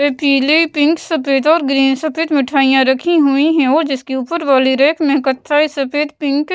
ऐ पीले पिंक सफेद और ग्रीन सफेद मिठाइयाँ रखी हुई हैं और जिसके ऊपर वाली रैक में कथाई सफेद पिंक --